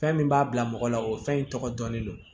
Fɛn min b'a bila mɔgɔ la o fɛn in tɔgɔ dɔn ne don